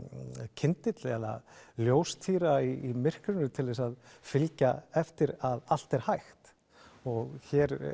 kyndill eða ljóstýra í myrkrinu til þess að fylgja eftir að allt er hægt og hér